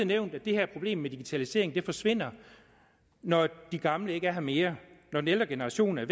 nævnt at det her problem med digitalisering forsvinder når de gamle ikke er her mere når den ældre generation er